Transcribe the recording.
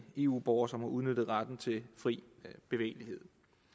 eu borger som har udnyttet retten til fri bevægelighed